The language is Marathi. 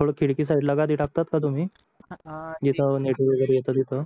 थोडं खिडकी साईडला गादि टाकतात का तुम्ही जिथे नेटवर्क येतो तिथे